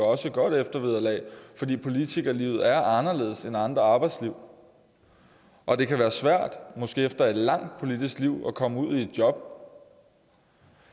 også et godt eftervederlag fordi politikerlivet er anderledes end andre arbejdsliv og det kan være svært måske efter et langt politisk liv at komme ud i et job